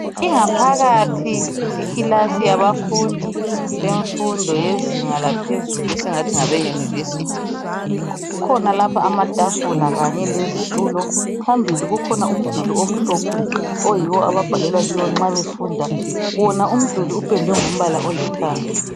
ingaphakazi yekilasi yabafundi yemfundo yezinga laphezulu esingathi ngabe university kukhona lapha amatafula kanye lezitulo phambili kukhona umduli omhlophe oyiwo ababhalela kiwo nxa befunda wona umduli upendwe ngombala olithanga